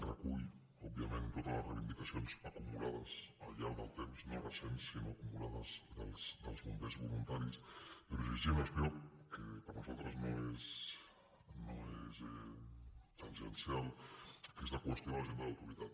recull òbviament totes les reivindicacions acumulades al llarg del temps no recents sinó acumulades dels bombers voluntaris però llegint això que per nosaltres no és tangencial que és la qüestió de l’agent de l’autoritat